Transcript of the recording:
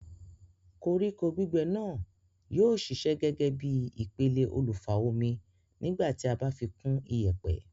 Koríko gbígbẹ náà yóó ṣiṣẹ́ gẹ́gẹ́ bíi ìpele olùfa-omi nígbà tí a bá fi kún iyẹ̀pẹ̀